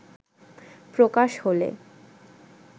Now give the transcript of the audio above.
প্রকাশ হলে